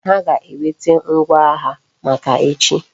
Ha ga eweta ngwa agha maka echi